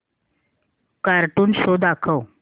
cartoon show दाखव